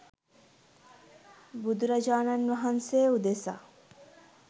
බුදුරජාණන් වහන්සේ උදෙසා